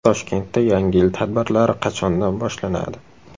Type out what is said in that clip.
Toshkentda Yangi yil tadbirlari qachondan boshlanadi?